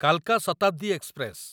କାଲକା Shatabdi express